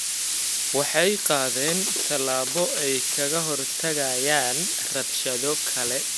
Waxay qaadeen tallaabo ay kaga hortagayaan rabshado kale.